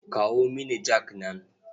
Kawo mini jak nan.